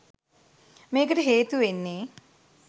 මේකට හේතු වෙන්නේ